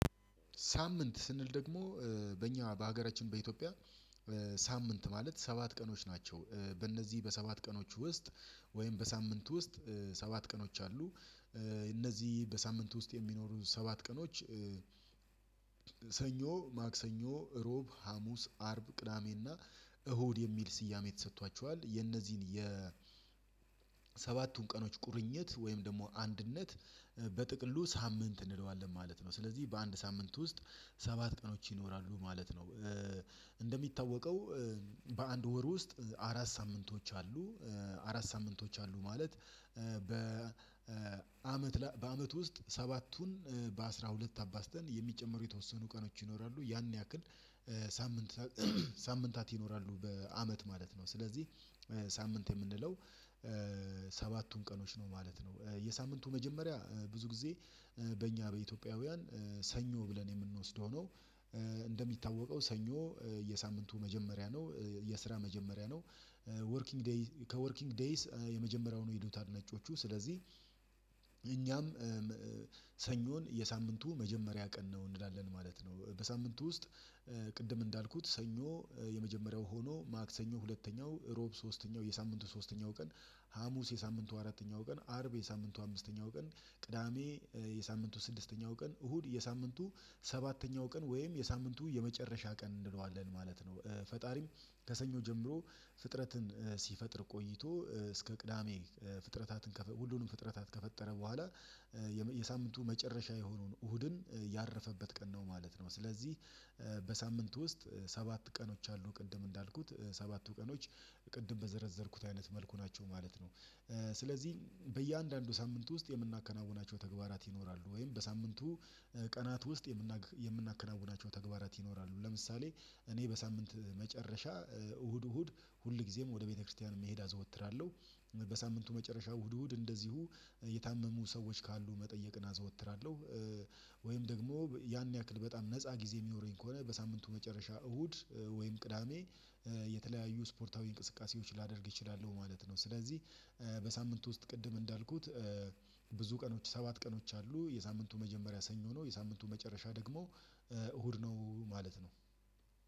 ሳምንት ስንል ደግሞ በእኛ በሀገራችን በኢትዮጵያ ሳምንት ማለት ሰባት ቀኖች ናቸው በእነዚህ በሰባት ቀኖች ውስጥ ወይም በሳምንት ውስጥ ሰባት ቀኖች አሉ እነዚህ በሳምንት ውስጥ የሚኖሩ ሰባት ቀኖች ሰኞ ማክሰኞ ሮብ ሀሙስ አርብ ቅዳሜና እሁድ የሚል ስያሜ ተሰጥቷቸዋል የነዚህን ሰባቱን ቀኖች ቁርኝት ወይም ደግሞ አንድነት በጥቅሉ ሳምንት እንለዋለን ማለት ነው ስለዚህ በአንድ ሳምንት ውስጥ ሰባት ቀኖች ይኖራሉ ማለት ነው እንደሚታወቀው በአንድ ወር ውስጥ አራት ሳምንቶች አሉ አራት ሳምንቶች አሉ ማለት በአመት በአመት ውስጥ ሰባቱን በአሥራ ሁለት አባዝተን የሚጨምሩ የተወሰኑ ቀኖች ይኖራሉ ያን ያክል ሳምንት ሳምንታት ይኖራሉ በአመት ማለት ነው። ስለዚህ ሳምንት የምንለው ሰባቱን ቀኖች ነው ማለት ነው የሳምንቱ መጀመሪያ ብዙ ጊዜ በእኛ በኢትዮጵያውያን ሰኞ ብለን የምንወስደው ነው እንደሚታወቀው ሰኞ የሳምንቱ መጀመሪያ ነው የስራ መጀመሪያ ነው። ወርኪንግ ዴይ ከወርኪንግ ዴይስ የመጀመሪያው ነው የሄሉታል ነጮቹ ስለዚህ እኛም ሰኞን የሳምንቱ መጀመሪያ ቀን ነው እንላለን ማለት ነው በሳምንቱ ውስጥ ቅድም እንዳልኩት ሰኞ የመጀመሪያው ሆኖ ማክሰኞ ሁለተኛው እሮብ ሶስተኛው የሳምንቱ ሶስተኛው ቀን ሀሙስ የሳምንቱ አራተኛው ቀን አርብ የሳምንቱ አምስተኛው ቀን ቅዳሜ የሳምንቱ ስድስተኛው ቀን እሁድ የሳምንቱ ሰባተኛው ቀን ወይም የሳምንቱ የመጨረሻ ቀን እንለዋለን ማለት ነው ፈጣሪም ከሰኞ ጀምሮ ፍጥረትን ሲፈጥር ቆይቶ እስከ ቅዳሜ ፍጥረታትን ሁሉንም ፍጥረታትን ከፈጠረ በኋላ የሳምንቱ መጨረሻ የሆኑን እሁድን ያረፈበት ቀን ነው ማለት ነው ስለዚህ በሳምንቱ ውስጥ ሰባት ቀኖች አሉ ቅድም እንዳልኩት ሰባቱ ቀኖች ቅድም በዘረዘርኩት አይነት መልኩ ናቸው ማለት ነው። ስለዚህ በእያንዳንዱ ሳምንት ውስጥ የምናከናውናቸው ተግባራት ይኖራሉ ወይም በሳምንቱ ቀናት ውስጥ የምናክ የምናከናውናቸው ተግባራት ይኖራሉ ለምሳሌ እኔ በሳምንት መጨረሻ እሁድ እሁድ ሁል ጊዜም ወደ ቤተክርስቲያን መሄድ አዘወትራለሁ። በሳምንቱ መጨረሻ እሁድ እሁድ እንደዚሁ የታመሙ ሰዎች ካሉ መጠየቅን አዘወትራለሁ ወይም ደግሞ ያን ያክል በጣም ነፃ ጊዜ የሚኖረኝ ከሆነ በሳምንቱ መጨረሻ እሁድ ወይም ቅዳሜ የተለያዩ ስፖርታዊ እንቅስቃሴዎች ላደርግ እችላለሁ ማለት ነው ስለዚህ በሳምንቱ ውስጥ ቅድም እንዳልኩት ብዙ ቀኖች ሰባት ቀኖች አሉ የሳምንቱ መጀመሪያ ሰኞ ነው የሳምንቱ መጨረሻ ደግሞ እሁድ ነው ማለት ነው